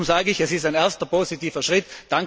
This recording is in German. Darum sage ich, es ist ein erster positiver Schritt.